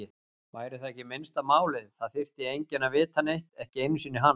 Væri það ekki minnsta málið, það þyrfti enginn að vita neitt, ekki einu sinni hann.